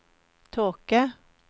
tåke